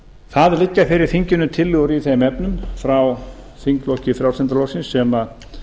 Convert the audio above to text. það liggja fyrir þinginu tillögur í þeim efnum frá þingflokki frjálslynda flokksins sem